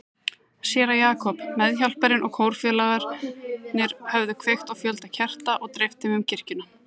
Séra Jakob, meðhjálparinn og kórfélagarnir höfðu kveikt á fjölda kerta og dreift þeim um kirkjuna.